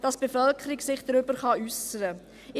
dass die Bevölkerung sich dazu äussern kann.